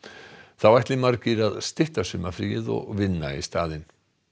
þá ætli margir að stytta sumarfríið og vinna í staðinn